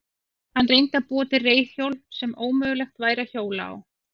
Hann reyndi að búa til reiðhjól sem ómögulegt væri að hjóla á.